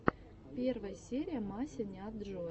первая серия масяняджоя